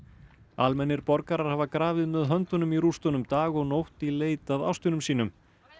almennir borgarar hafa grafið með höndunum í rústunum dag og nótt í leit að ástvinum sínum